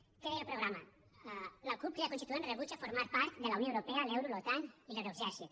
què deia el programa la cup crida constituent rebutja formar part de la unió europea l’euro l’otan i l’euroexèrcit